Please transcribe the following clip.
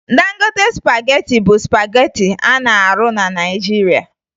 Dangote spagetị bụ spagetị a na-arụ na Naịjirịa